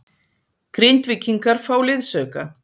Grindvíkingar fá liðsauka